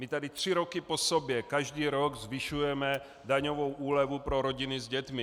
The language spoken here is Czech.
My tady tři roky po sobě každý rok zvyšujeme daňovou úlevu pro rodiny s dětmi.